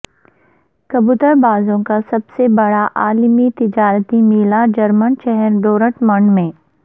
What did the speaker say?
کبوتر بازوں کا سب سے بڑا عالمی تجارتی میلہ جرمن شہر ڈورٹمنڈ میں